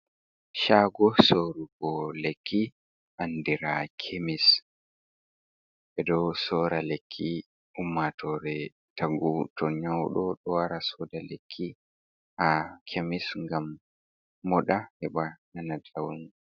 Shago sorrugo lekki, andira kemis, meɗo sorra lekki, ummatore tagu to nyawɗo wara soda lekki ha kemis, gam moɗa heɓa nana njamu.